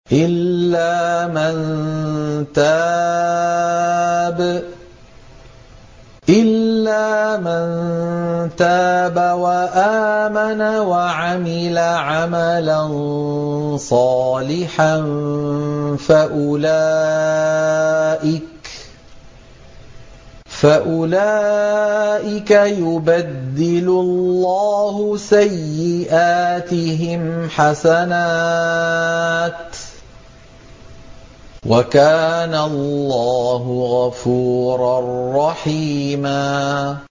إِلَّا مَن تَابَ وَآمَنَ وَعَمِلَ عَمَلًا صَالِحًا فَأُولَٰئِكَ يُبَدِّلُ اللَّهُ سَيِّئَاتِهِمْ حَسَنَاتٍ ۗ وَكَانَ اللَّهُ غَفُورًا رَّحِيمًا